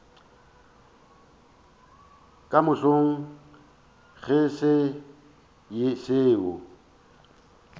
ka mahlong go se seo